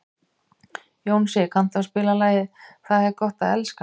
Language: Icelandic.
Jónsi, kanntu að spila lagið „Tað er gott at elska“?